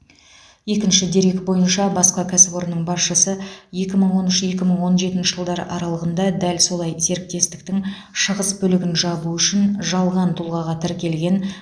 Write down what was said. екінші дерек бойынша басқа кәсіпорынның басшысы екі мың он үш екі мың он жетінші жылдар аралығында дәл солай серіктестіктің шығыс бөлігін жабу үшін жалған тұлғаға тіркелген